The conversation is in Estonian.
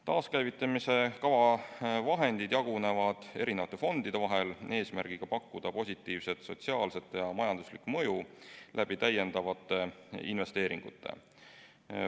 Taaskäivitamise kava vahendid jagunevad mitmesuguste fondide vahel eesmärgiga pakkuda positiivset sotsiaalset ja majanduslikku mõju täiendavate investeeringute kaudu.